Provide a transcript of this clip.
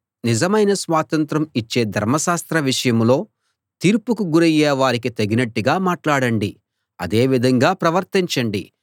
నిజమైన స్వాతంత్రం ఇచ్చే ధర్మశాస్త్రం విషయంలో తీర్పుకు గురయ్యే వారికి తగినట్టుగా మాట్లాడండి అదే విధంగా ప్రవర్తించండి